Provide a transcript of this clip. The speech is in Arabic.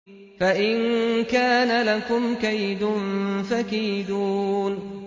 فَإِن كَانَ لَكُمْ كَيْدٌ فَكِيدُونِ